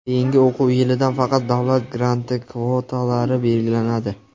Keyingi o‘quv yilidan faqat davlat granti kvotalari belgilanadi.